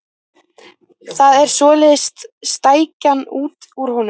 Það er svoleiðis stækjan út úr honum!